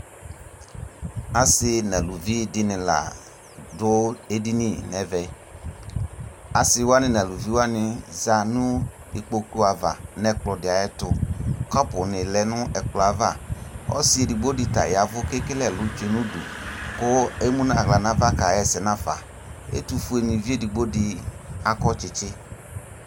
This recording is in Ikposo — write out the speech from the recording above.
Asi naluvi dini la dʋ edini nɛvɛAsiwani naluvi wani za nʋ ikpoku 'ava nɛkplɔ di ayɛ tuKɔpu ni lɛ nʋ ɛkplɔɛ'avaƆsi edigbo di ta yavʋ kekele ɛlʋ tsoe nudu Kʋ emu naɣla nava kaɣɛsɛ nafa Ɛtufue ni vi edigbo di akɔ tsitsi